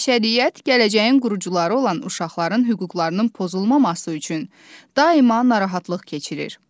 Bəşəriyyət gələcəyin qurucuları olan uşaqların hüquqlarının pozulmaması üçün daima narahatlıq keçirir.